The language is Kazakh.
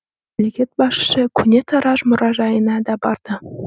мемлекет басшысы көне тараз мұражайына да барды